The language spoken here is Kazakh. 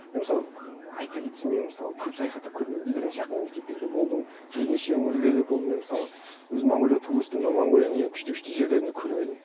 мен мысалы айта кетсем мен мысалы көп саяхаттап көрмегенмін бірнеше ақ мемлекеттерде болдым бірнеше өңірлерде болдым мен мысалы өзім монғолияда туып өстім но монғолияның ең күшті күшті жерлерін де көрмедім